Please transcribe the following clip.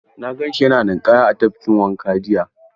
Na gan shi yana ninƙaya a tafkin wanka jiya.